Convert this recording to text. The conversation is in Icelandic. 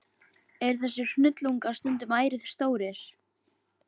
Eru þessir hnullungar stundum ærið stórir.